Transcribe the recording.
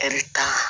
kan